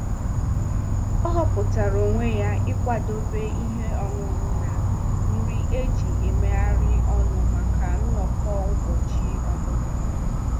Ọ hupụtara onwe ya ịkwadebe ihe ọṅụṅụ na nri eji-emeghari ọnụ maka nnọkọ ụbọchị ọmụmụ.